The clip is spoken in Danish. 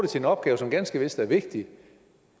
den opgave som ganske vist er vigtig